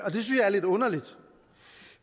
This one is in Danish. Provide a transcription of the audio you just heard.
synes jeg er lidt underligt